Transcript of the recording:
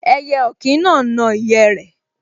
Ẹyẹ ọ̀kín náà n na ìyẹ́ rẹ̀